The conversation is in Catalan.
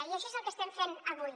i això és el que estem fent avui